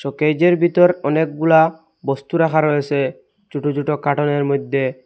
শোকেজের ভিতর অনেকগুলা বস্তু রাখা রয়েসে ছোট ছোট কার্টুনের মইধ্যে।